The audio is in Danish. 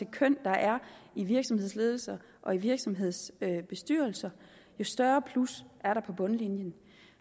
køn der er i virksomhedsledelser og i virksomhedsbestyrelser jo større plus er der på bundlinjen